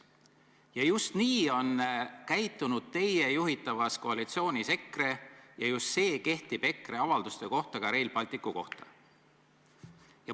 Ja just nii on käitunud teie juhitavas koalitsioonis EKRE ja just see kehtib EKRE avalduste kohta, mis puudutavad Rail Balticut.